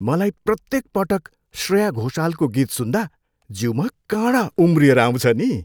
मलाई प्रत्येक पटक श्रेया घोषालको गीत सुन्दा, जिउमा काँडा उम्रिएर आउँछ नि।